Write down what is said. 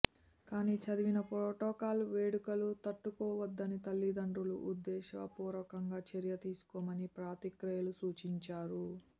కానీ చదివిన ప్రోటోకాల్ వేడుకలు తట్టుకోవద్దని తల్లిదండ్రులు ఉద్దేశపూర్వకంగా చర్య తీసుకోవని పాత్రికేయులు సూచించారు